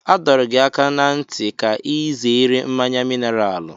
A dọrọ gị aka ná ntị ka ị zere mmanya mineralu.